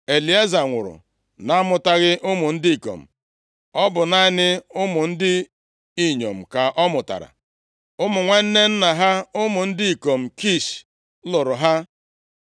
Elieza nwụrụ na-amụtaghị ụmụ ndị ikom. Ọ bụ naanị ụmụ ndị inyom ka ọ mụtara. Ụmụ nwanne nna ha, ụmụ ndị ikom Kish, lụrụ ha.